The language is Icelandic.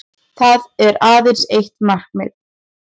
Það er aðeins eitt markið